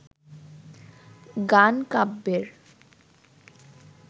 গান কাব্যের